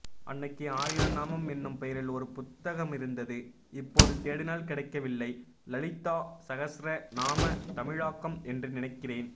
அன்னைக்கு ஆயிரம்நாமம் என்னும் பெயரில் ஒருபுத்டகமிருந்தது இப்போதுதேடினால் கிடைக்கவில்லை லலிதா சகஸ்ர நாம தமிழாக்கம் என்று நினைக்கிறேன்